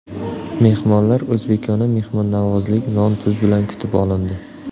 Mehmonlar o‘zbekona mehmonnavozlik, non-tuz bilan kutib olindi.